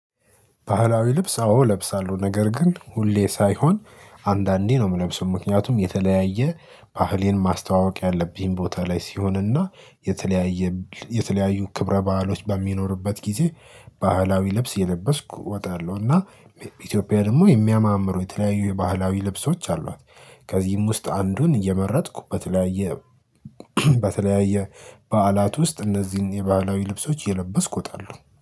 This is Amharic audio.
ባህላዊ ልብስ አዎ እለብሳለሁ። ነገር ግን ሁሌ ሳይሆን አንዳንዴ ነው የምለብሰው ምክንያቱም የተለያየ ባህሌን ማስተዋወቅ ያለብኝ ቦታ ላይ ሲሆንና የተለያየ የተለያዩ ክብረ ባአሎች በሚኖርበት ጊዜ ባህላዊ ልብስ እየለበስኩ እወጣለሁና። ኢትዮጵያ ደግሞ የሚያማምሩ የተለያዩ የባህላዊ ልብሶች አሏት። ከዚህም ውስጥ አንዱን እየመረጥኩ በተለያየ በተለያየ በዓላት ውስጥ እነዚህን የባህላዊ ልብሶች እየለበስኩ ወጣለሁ